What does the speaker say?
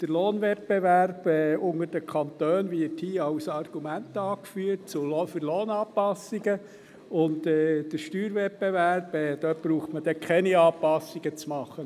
Der Lohnwettbewerb unter den Kantonen wird hier als Argument für Lohnanpassungen angeführt, und beim Steuerwettbewerb braucht man dann keine Anpassungen zu machen.